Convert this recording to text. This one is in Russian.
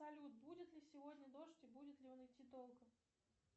салют будет ли сегодня дождь и будет ли он идти долго